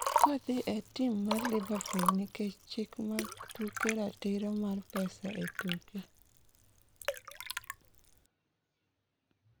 kodhi e tim mar liverpool nikech chik mag tuke ratiro mar pesa etuke